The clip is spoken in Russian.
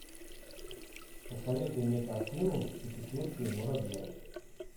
посоветуй мне картину путешествие муравья